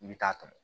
I bɛ taa tɔmɔ